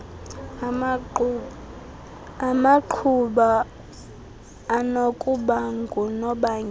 amaqhuba anokuba ngunobangela